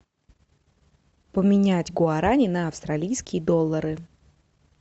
поменять гуарани на австралийские доллары